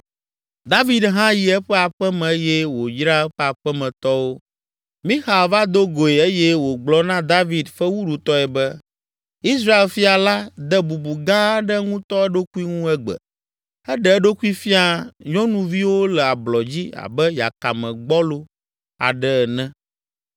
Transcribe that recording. David hã yi eƒe aƒe me eye wòyra eƒe aƒemetɔwo. Mixal va do goe eye wògblɔ na David fewuɖutɔe be, “Israel fia la de bubu gã aɖe ŋutɔ eɖokui ŋu egbe! Eɖe eɖokui fia nyɔnuviwo le ablɔ dzi abe yakame gbɔlo aɖe ene!”